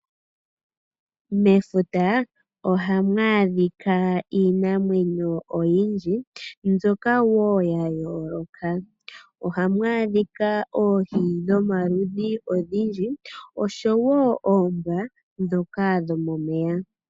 Mefuta ohaamwaadhika iinamwenyo oyindji, mbyoka woo yayoloka, uhamu adhika oohi dhomaludhi ogendji nosho woo oombwa dhomomeya.